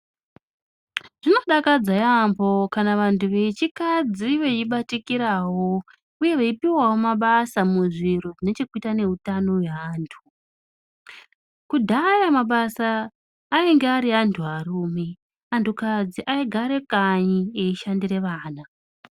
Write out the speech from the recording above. Zvinodakadza yaambo kana kuti vantu vechikadzi veibatikiravo, uye veipuvavo mabasa muzviro zvinechekuita neutano hweantu. Kudhaya mabasa ainge ari eanturume, antukadzi aigara kanyi eishandire vana.